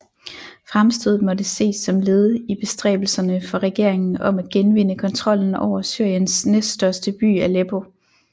Fremstødet måtte ses som led i bestræbelserne for regeringen om at genvinde kontrollen over Syriens næststørste by Aleppo